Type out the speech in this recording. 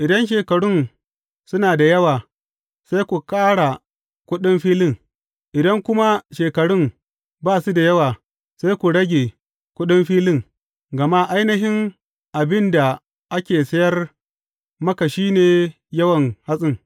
Idan shekarun suna da yawa, sai ku kara kuɗin filin, idan kuma shekarun ba su da yawa, sai ku rage kuɗin filin, gama ainihin abin da ake sayar maka shi ne yawan hatsin.